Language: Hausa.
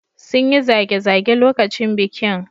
Sun yi zage-zage lokacin bikin.